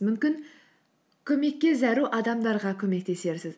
мүмкін көмекке зәру адамдарға көмектесерсіз